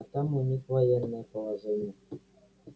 а там у них военное положение